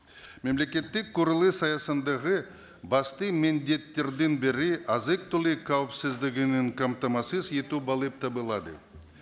мемлекеттік құрылыс аясындағы басты міндеттердің бірі азық түлік қамтамасыз ету болып табылады